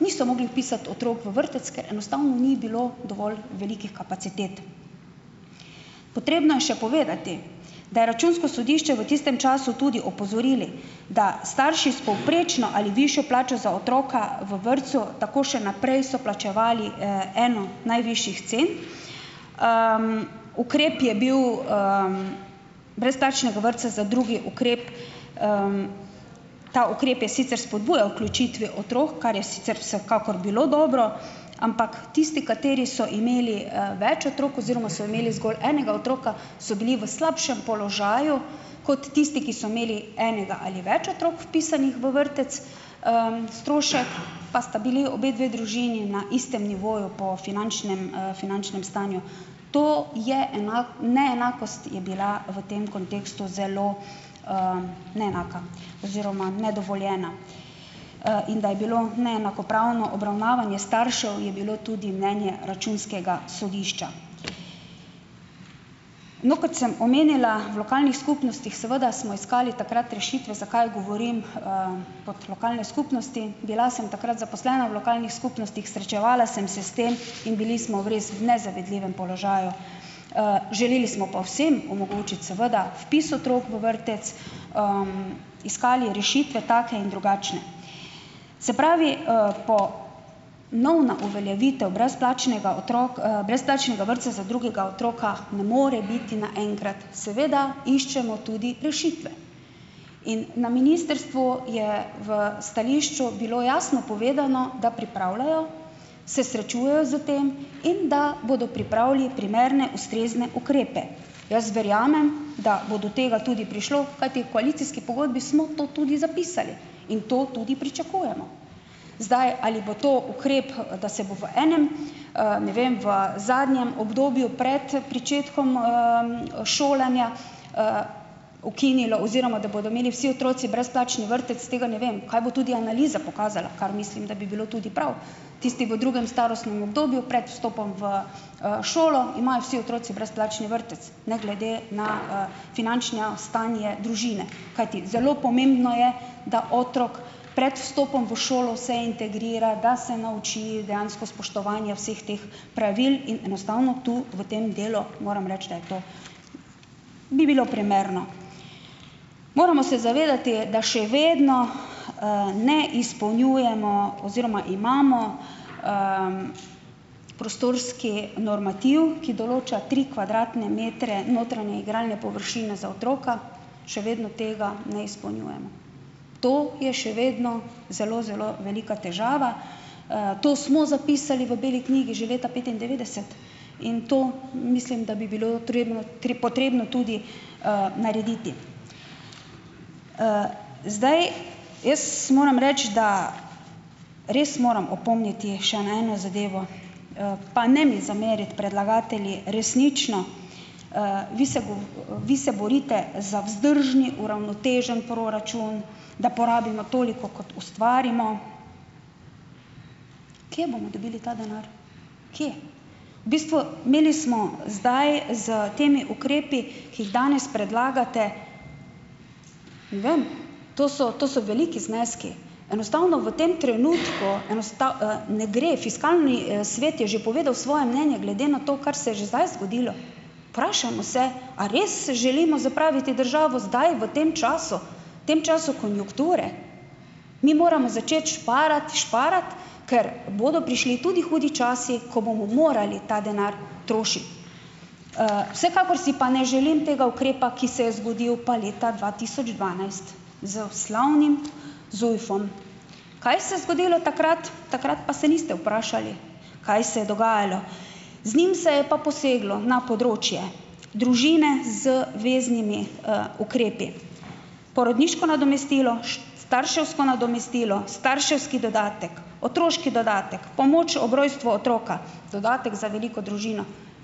niso mogli vpisati otrok v vrtec, ker enostavno ni bilo dovolj velikih kapacitet. Potrebno je še povedati, da je računsko sodišče v tistem času tudi opozorilo, da starši s povprečno ali višjo plačo za otroka v vrtcu tako še naprej so plačevali, eno najvišjih cen. Ukrep je bil, brezplačnega vrtca za drugi ukrep, ta ukrep je sicer spodbujal vključitev otrok, kar je sicer vsekakor bilo dobro, ampak tisti, kateri so imeli, več otrok oziroma so imeli zgolj enega otroka, so bili v slabšem položaju kot tisti, ki so imeli enega ali več otrok vpisanih v vrtec, strošek pa sta bili obe dve družini na istem nivoju po finančnem, finančnem stanju. To je, enak, neenakost je bila v tem kontekstu zelo, neenaka oziroma nedovoljena. In da je bilo neenakopravno obravnavanje staršev, je bilo tudi mnenje računskega sodišča. No, kot sem omenila, v lokalnih skupnostih seveda smo iskali takrat rešitve. Zakaj govorim, kot lokalne skupnosti? Bila sem takrat zaposlena v lokalnih skupnostih, srečevala sem se s tem in bili smo v res nezavidljivem položaju, želeli smo pa vsem omogočiti seveda vpis otrok v vrtec, iskali rešitve take in drugačne. Se pravi, po novna uveljavitev brezplačnega otrok, brezplačnega vrtca za drugega otroka ne more biti naenkrat. Seveda iščemo tudi rešitve. In na ministrstvu je v stališču bilo jasno povedano, da pripravljajo, se srečujejo s tem in da bodo pripravili primerne, ustrezne ukrepe. Jaz verjamem, da bo do tega tudi prišlo, kajti v koalicijski pogodbi smo to tudi zapisali in to tudi pričakujemo. Zdaj, ali bo to ukrep, da se bo v enem, ne vem, v zadnjem obdobju pred pričetkom, šolanja, ukinilo oziroma da bodo imeli vsi otroci brezplačni vrtec, tega ne vem, kaj bo tudi analiza pokazala, kar mislim, da bi bilo tudi prav. Tisti v drugem starostnem obdobju prej vstopom v, šolo imajo vsi otroci brezplačni vrtec ne glede na, finančno stanje družine, kajti zelo pomembno je, da otrok pred vstopom v šolo se integrira, da se nauči dejansko spoštovanja vseh teh pravil in enostavno tu v tem delu moram reči, da to bi bilo primerno. Moramo se zavedati, da še vedno, ne izpolnjujemo oziroma imamo, prostorski normativ, ki določa tri kvadratne metre notranje igralne površine za otroka, še vedno tega ne izpolnjujemo. To je še vedno zelo, zelo velika težava. To smo zapisali v beli knjigi že leta petindevetdeset in to mislim, da bi bilo potrebno tri potrebno tudi, narediti. Zdaj, jaz moram reči, da res moram opomniti še na eno zadevo, pa ne mi zameriti, predlagatelji, resnično. Vi se bo, vi se borite za vzdržni uravnoteženi proračun, da porabimo toliko, kot ustvarimo. Kje bomo dobili ta denar? Kje? V bistvu, imeli smo zdaj s temi ukrepi, ki jih danes predlagate, ne vem. To so, to so veliki zneski. Enostavno v tem trenutku, enostavno, ne gre. Fiskalni, svet je že povedal svoje mnenje glede na to, kar se je že zdaj zgodilo. Vprašajmo se, a res se želimo zapraviti državo zdaj v tem času Tem času konjunkture? Mi moramo začeti šparati, šparati, ker bodo prišli tudi hudi časi, ko bomo morali ta denar trošiti. Vsekakor si pa ne želim tega ukrepa, ki se je zgodil pa leta dva tisoč dvanajst z slavnim ZUJF-om. Kaj se zgodilo takrat? Takrat pa se niste vprašali, kaj se je dogajalo. Z njim se je pa poseglo na področje družine z veznimi, ukrepi. Porodniško nadomestilo, starševsko nadomestilo, starševski dodatek, otroški dodatek, pomoč ob rojstvu otroka, dodatek za veliko družino.